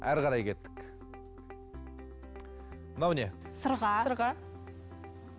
әрі қарай кеттік мынау не сырға сырға